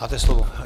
Máte slovo.